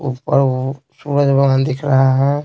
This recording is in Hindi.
ऊपर वो सूरजवान दिख रहा है।